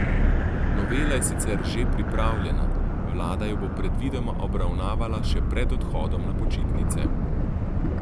Novela je sicer že pripravljena, vlada jo bo predvidoma obravnavala še pred odhodom na počitnice.